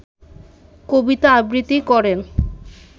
কবিতা আবৃত্তি করেন